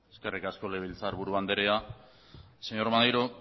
eskerrik asko legebiltzar buru andrea señor maneiro